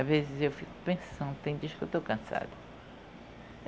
Às vezes eu fico pensando, tem dias que eu estou cansada.